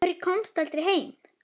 Af hverju komstu aldrei heim?